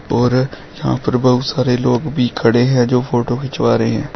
और यहां पर बहुत सारे लोग भी खड़े है जो फोटो खिचवा रहे है।